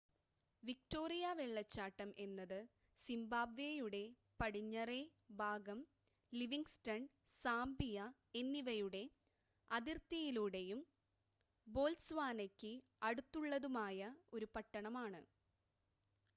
Victoria വെള്ളച്ചാട്ടം എന്നത് സിംബാബ്വേയുടെ പടിഞ്ഞറേ ഭാഗം ലിവിംഗ്സ്റ്റൺ സാംബിയ എന്നിവയുടെ അതിർത്തിയിലൂടെയും ബോത്സ്വാനയ്ക്ക് അടുത്തുള്ളതുമായ ഒരു പട്ടണമാണ്